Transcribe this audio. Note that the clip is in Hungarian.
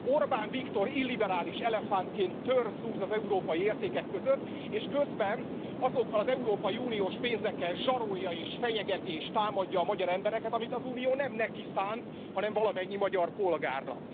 Orbán Viktor illiberális elefántként tör zúz az európai értékek között, és közben azokkal az európai uniós pénzekkel zsarolja és fenyegeti és támadja a magyar embereket, amit az Unió nem neki szánt, hanem valamennyi magyar polgárnak.